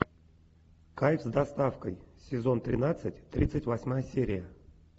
кайф с доставкой сезон тринадцать тридцать восьмая серия